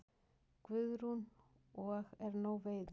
Guðrún: Og er nóg veiði?